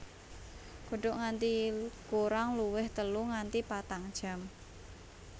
Godhog nganti kurang luwih telu nganti patang jam